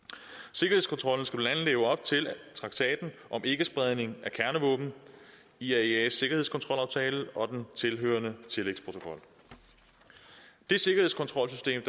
sikkerhedskontrollen skal blandt andet leve op til traktaten om ikkespredning af kernevåben iaeas sikkerhedskontrolaftale og den tilhørende tillægsprotokol det sikkerhedskontrolsystem